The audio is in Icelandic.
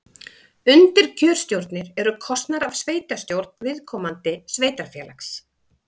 Undirkjörstjórnir eru kosnar af sveitastjórn viðkomandi sveitarfélags.